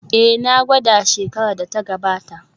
Ee, na gwada shekarar da ta gabata